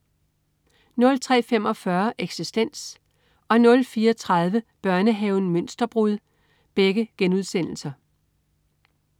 03.45 Eksistens* 04.30 Børnehaven Mønsterbrud*